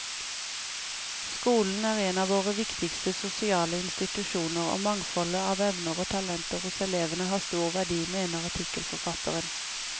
Skolen er en våre viktigste sosiale institusjoner, og mangfoldet av evner og talenter hos elevene har stor verdi, mener artikkelforfatteren.